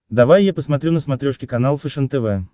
давай я посмотрю на смотрешке канал фэшен тв